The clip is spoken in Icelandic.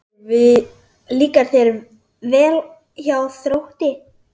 Líkar þér vel hjá Þrótti?